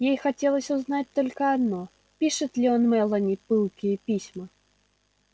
ей хотелось узнать только одно пишет ли он мелани пылкие письма